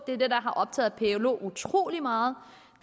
det der har optaget plo utrolig meget